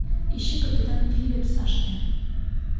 ищи капитан филипс аш д